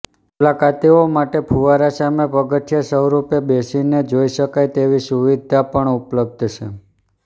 મુલાકાતીઓ માટે ફુવારા સામે પગથીયા સ્વરૂપે બેસીને જોઇ શકાય તેવી સુવિધા પણ ઉપલબ્ધ છે